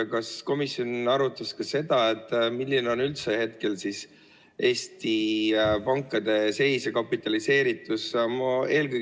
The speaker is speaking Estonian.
Ja kas komisjon arutas ka seda, milline on üldse hetkel Eesti pankade seis ja kapitaliseeritus?